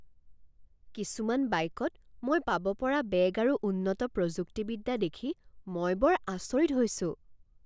কিছুমান বাইকত মই পাব পৰা বেগ আৰু উন্নত প্ৰযুক্তিবিদ্যা দেখি মই বৰ আচৰিত হৈছোঁ।